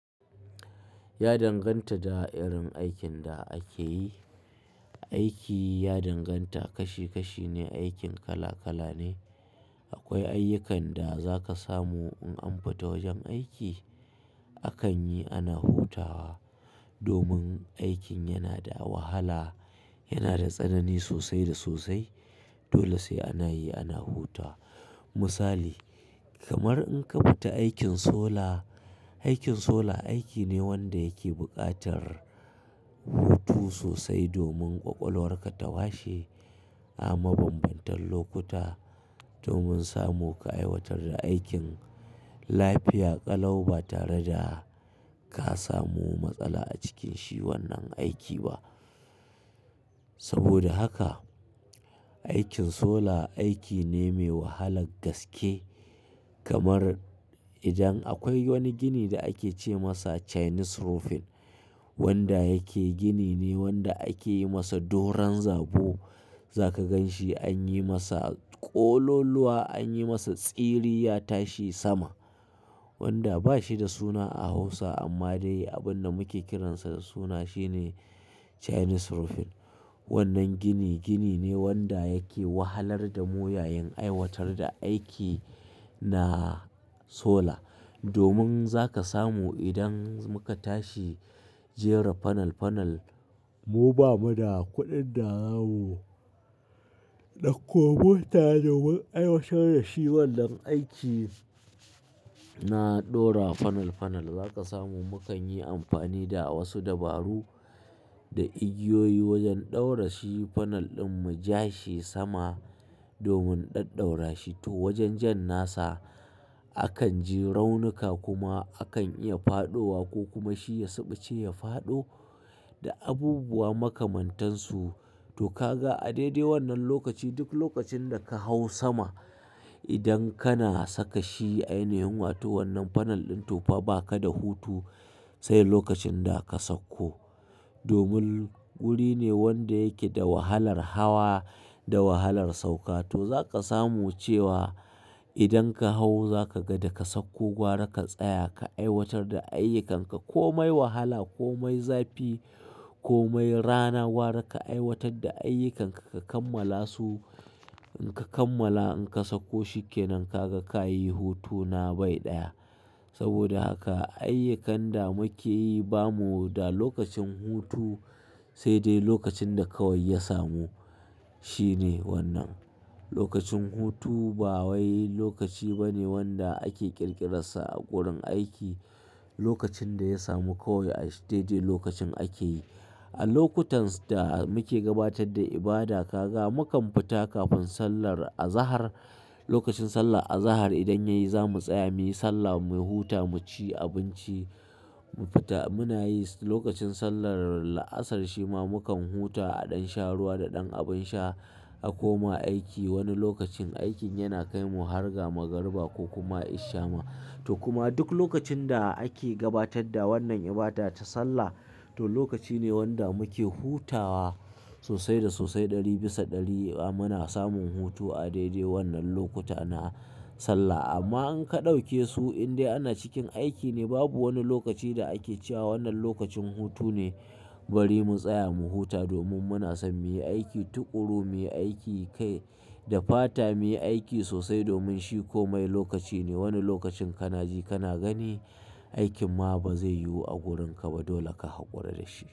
Ya danganta da irin aikin da ake yi. Aiki ya danganta, kashi kashi ne, aikin kala kala ne. Akwai ayyukan da za ka samu in an fita wajen aiki akan yi ana hutawa domin aikin yana da wahala, yana da tsanani sosai da sosai dole sai ana yi ana huta. Misali kamar in ka fita aikin sola, aikin sola aiki ne wanda yake buƙatar hutu sosai domin kwakwalwar ka ta washe a mabambantan lokuta domin samu ka aiwatar da aikin lafiya ƙalau ba tare da ka samu matsala a cikin shi wannan aiki ba. Saboda haka aikin sola aiki ne mai wahalar gaske kamar idan akwai wani gini da ake ce masa Chinese roofing wanda yake gini ne wanda ake yi masa doron zabo. Za ka gan shi an yi masa ƙololuwa, an yi masa tsiri ya tashi sama wanda ba shi da suna a Hausa amma dai abin da muke kiransa da suna shi ne Chinese roofing. Wannan gini, gini ne wanda yake wahalar da mu yayin aiwatar da aiki na sola. Domin za ka samu idan muka tashi jera fanal fanal mu ba mu da kuɗin da zamu dau komo ta domin aiwatar da shi wannan aiki na ɗora fanal fanal za ka samu mu kan yi amfani da wasu dabaru da igiyoyi wajen ɗaura shi fanal ɗin mu ja shi sama domin ɗaɗ ɗaura shi. To wajen jan nasa akan ji raunuka kuma akan iya faɗowa ko kuma shi ya suɓuce ya faɗo da abubuwa makamantansu. To ka ga a daidai wannan lokaci duk lokacin da ka hau sama idan kana saka shi ainihin wato wannan fanal ɗin to fa ba ka da hutu sai lokacin da ka sakko. Domin wuri ne wanda yake da wahalar hawa da wahalar sauka. To za ka samu cewa idan ka hau za ka ga da ka sakko gwara ka tsaya ka aiwatar da ayyukanka ko mai wahala ko mai zafi ko mai rana gwara ka aiwatar da ayyukanka ka kammala su. In ka kammala in ka sakko shikenan ka ga ka yi hutuna bai ɗaya. Saboda haka ayyukan da muke yi ba mu da lokacin hutu sai dai lokacin da kawai ya samu shi ne wannan. Lokacin hutu ba wai lokaci ba ne wanda ake ƙirƙirarsa a gurin aiki. Lokacin da ya samu kawai a shi dai dai lokacin ake yi. A lokutans da muke gabatar da ibada ka ga mu kam fita kafin sallar azahar. Lokacin sallar azahar idan ya yi zamu tsaya muyi sallah mu huta mu ci abinci mu fita muna yi lokacin sallar la'asar shi ma mu kam huta a ɗan sha ruwa da ɗan abin sha a koma aiki. Wani lokacin aikin yana kai mu har ga magariba ko kuma isha ma. To kuma duk lokacin da ake gabatar da wannan ibada ta sallah to lokaci ne wanda muke hutawa sosai da sosai ɗari bisa ɗari a muna samun hutu a daidai wannan lokuta na sallah. Amma in ka ɗauke su in dai ana cikin aiki ne babu wani lokaci da ake cewa wannan lokacin hutu ne bari mu tsaya mu huta domin muna son muyi aiki tuƙuru, muyi aiki kai da fata, muyi aiki sosai domin shi komai lokaci ne. Wani lokacin kana ji kana gani aikin ma ba zai yiwu a gurinka ba dole ka haƙura da shi.